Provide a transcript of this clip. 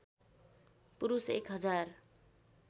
पुरुष एक हजार